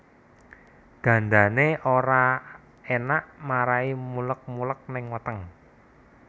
Gandané ora enak marahi muleg muleg ning weteng